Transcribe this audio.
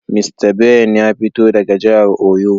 Mista Ben ya fito daga jihar oyo.